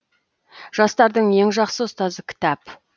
жастардың ең жақсы ұстазы кітап